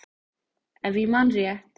Ef ég man rétt.